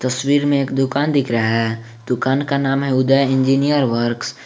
तस्वीर में एक दुकान दिख रहा है दुकान का नाम है उदय इंजीनियर वर्क्स ।